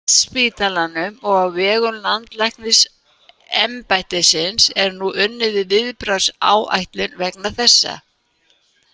Á Landspítalanum og á vegum Landlæknisembættisins er nú unnið að viðbragðsáætlun vegna þessa.